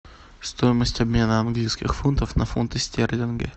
стоимость обмена английских фунтов на фунты стерлинги